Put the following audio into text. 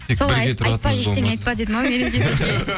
солай айтпа ештене айтпа деді ма мереке сізге